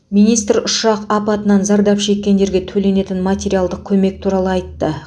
министр ұшақ апатынан зардап шеккендерге төленетін материалдық көмек туралы айтты